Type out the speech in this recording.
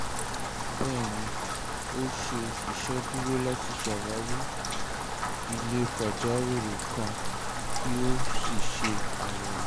bẹẹni o ṣe iṣeduro lati ṣawari ile pajawiri kan ki o si ṣe ayẹwo